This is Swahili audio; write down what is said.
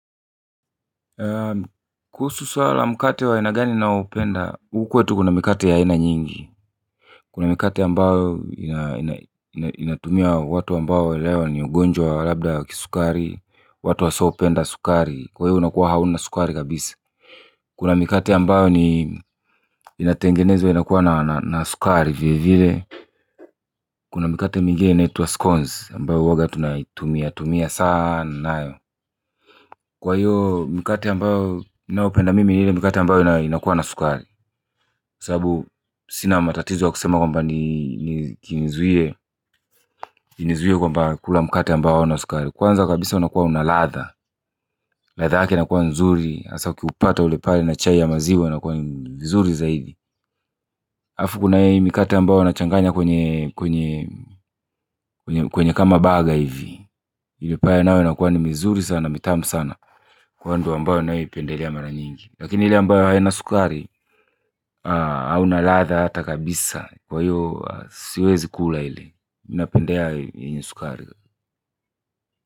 Kuhusu swala la mkate wa aina gani ninaoupenda, huku kwetu kuna mikate ya aina nyingi kuna mikate ambayo inatumia watu ambao leo ni ugonjwa wa labda wa kisukari, watu wasiopenda sukari, kwa hiyo unakuwa hauna sukari kabisa kuna mikate ambayo inatengenezwa inakuwa na sukari vile vile kuna mikate mingine inaitwa scones ambayo huwanga tunaitumia tumia sana nayo kwa hiyo mikate ambayo ninao penda mimi ni ile mikate ambayo inakuwa na sukari sababu sina matatizo wa kusema kwamba ni kinizuie kwamba kula mikate ambayo ina sukari kwanza kabisa unakuwa una ladha, ladha yake inakuwa nzuri hasa ukiupata ule pale na chai ya maziwa unakuwa ni mzuri zaidi halafu kuna hii mikate ambayo unachanganya kwenye kwenye kwenye kama burger hivi ile pale nayo inakuwa ni mizuri sana mitamu sana kwa hiyo ndio napendelea mara nyingi lakini ile ambayo haina sukari hauna ladha hata kabisa kwa hiyo siwezi kula ile mimi napendelea yenye sukari.